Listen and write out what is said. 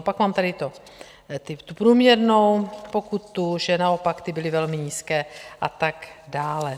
A pak mám tady tu průměrnou pokutu, že naopak ty byly velmi nízké, a tak dále.